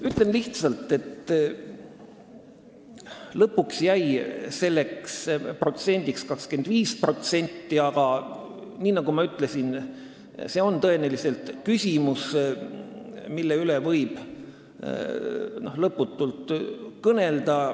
Ütlen lihtsalt, et lõpuks jäi selleks protsendiks 25%, aga nagu ma ütlesin, see on küsimus, mille üle võib lõputult kõnelda.